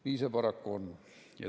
Nii see paraku on.